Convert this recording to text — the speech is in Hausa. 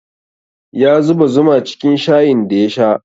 Ya zuba zuma cikin shayin da ya sha